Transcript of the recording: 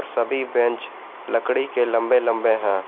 सभी बेंच लकड़ी के लंबे लंबे हैं।